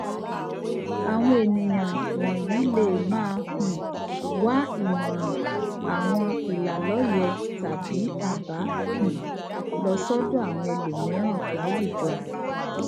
àwọn ènìyàn wònyí lè máa um wá ìmòràn àwọn ìlàlóye tàbí àbá um lọ sódò àwọn ẹlòmíràn láwùjọ